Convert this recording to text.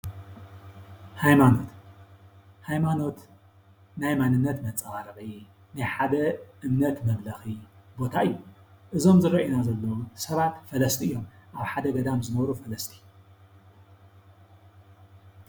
ሃይማኖት፡ ሃይማኖት ናይ ማንንነት መንፀባረቂ ናይ ሓደ እምነት መምለኪ ቦታ እዩ። እዞም ዝረአዩና ዘለው ሰባት ፈለስቲ እዮም ኣብ ሓደ ገዳም ዝነብሩ ፈለስቲ ።